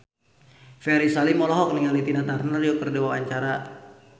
Ferry Salim olohok ningali Tina Turner keur diwawancara